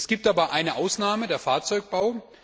Es gibt aber eine Ausnahme den Fahrzeugbau.